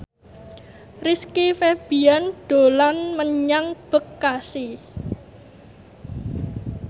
Rizky Febian dolan menyang Bekasi